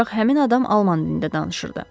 Ancaq həmin adam alman dilində danışırdı.